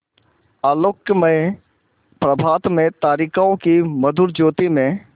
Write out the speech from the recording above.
आलोकमय प्रभात में तारिकाओं की मधुर ज्योति में